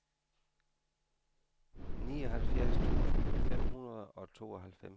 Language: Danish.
nioghalvfjerds tusind fem hundrede og tooghalvfems